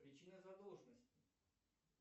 причина задолженности